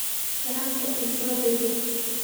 Lacagta iisodir.